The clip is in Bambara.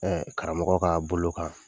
karamɔgɔ kaa bolo kan